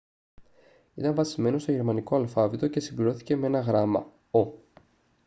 ήταν βασισμένο στο γερμανικό αλφάβητο και συμπληρώθηκε με ένα γράμμα [«õ / õ»]